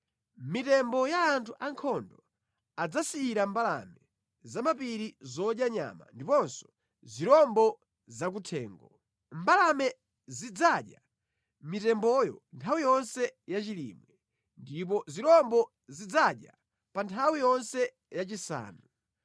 Mitembo ya anthu ankhondo adzasiyira mbalame zamʼmapiri zodya nyama ndiponso zirombo zakuthengo; mbalame zidzadya mitemboyo nthawi yonse ya chilimwe, ndipo zirombo zidzayidya pa nthawi yonse yachisanu.